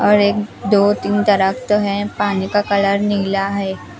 और एक दो तीन तरफ तो है पानी का कलर नीला है।